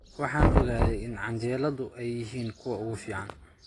Waxaan ogaaday in canjeelada ay yihiin kuwa ugu fiican